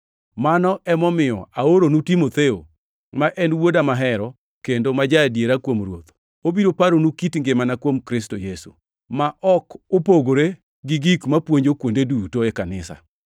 Mano emomiyo aoronu Timotheo, ma en wuoda mahero, kendo ma ja-adiera kuom Ruoth. Obiro paronu kit ngimana kuom Kristo Yesu, ma ok opogore gi gik mapuonjo kuonde duto, e kanisa.